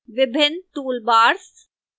विभिन्न toolbars